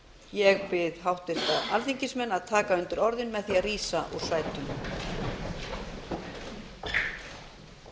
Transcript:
ég bið háttvirta alþingismenn að taka undir orð mín með því að rísa úr sætum takk fyrir